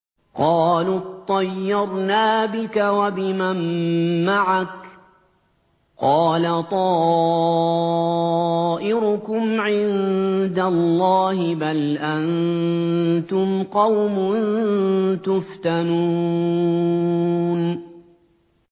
قَالُوا اطَّيَّرْنَا بِكَ وَبِمَن مَّعَكَ ۚ قَالَ طَائِرُكُمْ عِندَ اللَّهِ ۖ بَلْ أَنتُمْ قَوْمٌ تُفْتَنُونَ